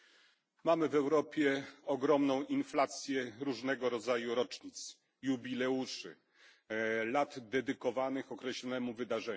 Mamy w Europie ogromną inflację różnego rodzaju rocznic, jubileuszy, lat dedykowanych określonemu wydarzeniu.